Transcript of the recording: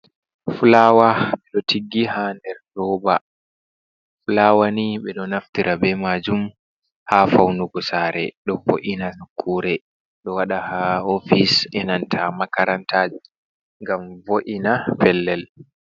Fulaawa ɗo tiggi haa nder roba. Fulawa ni ɓe ɗo naftira bee maajum ha faunugu saare ɗo wo’ina nokkuure. Ɗo waɗa haa ofis e nanta makaranta ngam wo’ina pellel.